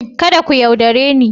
Kada ku yaudare ni.